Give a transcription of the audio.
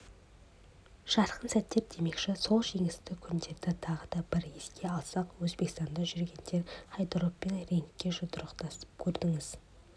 жарқын сәттер демекші сол жеңісті күндерді тағы бір еске алсақ өзбекстанда жүргенде хайдаровпен рингте жұдырықтасып көрдіңіз